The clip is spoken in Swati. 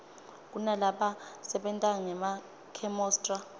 kunalaba sebentangema khemosra